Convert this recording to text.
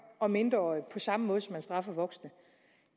og mindreårige på samme måde som man straffer voksne